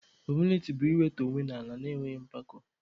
Humiliti bụ iwetu onwe ala na-enweghị mpako.